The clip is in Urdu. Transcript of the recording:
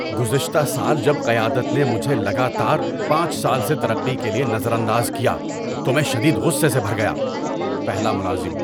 ‏گزشتہ سال جب قیادت نے مجھے لگاتار پانچ سال سے ترقی کے لیے نظر انداز کیا تو میں شدید غصے سے بھر گیا۔ (پہلا ملازم)